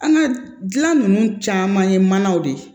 An ka dilan ninnu caman ye manaw de ye